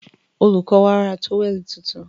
Olùkó wa ra tówẹ̀lì tuntun.